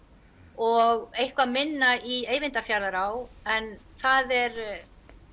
og eitthvað minna í Eyvindará en það er